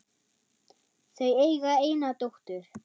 Þau eiga eina dóttur.